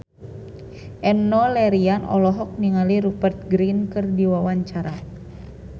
Enno Lerian olohok ningali Rupert Grin keur diwawancara